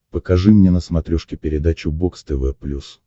покажи мне на смотрешке передачу бокс тв плюс